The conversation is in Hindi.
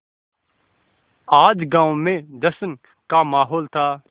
आज गाँव में जश्न का माहौल था